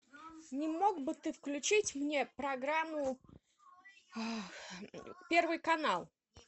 не мог бы ты включить мне программу первый канал